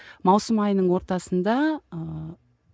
маусым айының ортасында ыыы